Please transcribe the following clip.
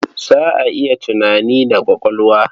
Za a yi tunani da ƙwaƙwalwa.